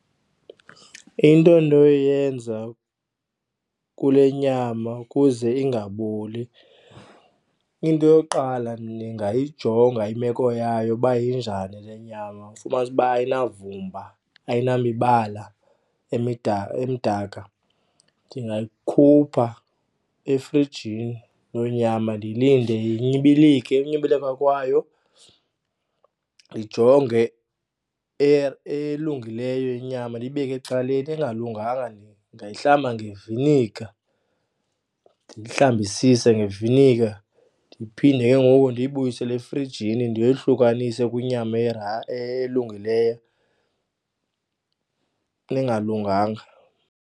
Into endinoyenza kule nyama ukuze ingaboli, into yokuqala ndingayijonga imeko yayo uba injani le nyama, ufumanisa uba ayinavumba ayinamibala emdaka. Ndingayikhupha efrijini loo nyama ndiyilinde inyibilike. Ukunyibilaka kwayo ndijonge elungileyo inyama ndiyibeke ecaleni, engalunganga ndiyihlambe ngevinika, ndiyihlambisise ngevinika. Ndiphinde ke ngoku ndiyibuyisele efrijini ndiyohlukanise kwinyama elungileyo kule engalunganga.